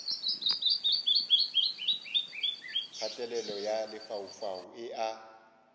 kgatelelo ya lefaufau e a